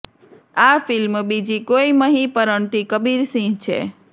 આ ફિલ્મ બીજી કોઈ મહી પરણતી કબીર સિંહ છે